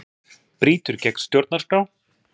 Brýtur gegn stjórnarskrá